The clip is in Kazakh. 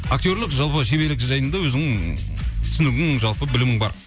актерлік жалпы шеберлік жайында өзің түсінігің жалпы білімің бар